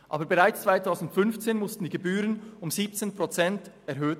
Aber bereits 2015 wurden die Gebühren um 17 Prozent erhöht.